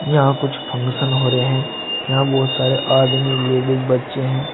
यहां कुछ फंक्शन हो रहे हैं यहां बहोत सारे आदमी लेडिस बच्चे हैं।